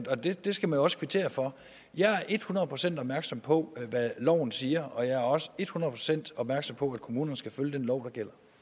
det skal man også kvittere for jeg er et hundrede procent opmærksom på hvad loven siger og jeg er også et hundrede procent opmærksom på at kommunerne skal følge den lov